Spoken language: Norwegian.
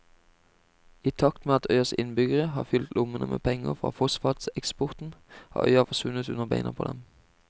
I takt med at øyas innbyggere har fylt lommene med penger fra fosfateksporten har øya forsvunnet under beina på dem.